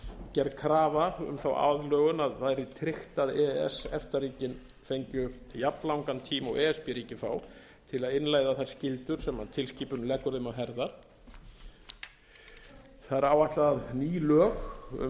gerð krafa um þá aðlögun að það yrði tryggt að e e s efta ríkin fengju jafnlangan tíma og e s b ríkin fá til að innleiða þær skyldur sem tilskipunin leggur þeim á herðar það er áætlað að ný lög um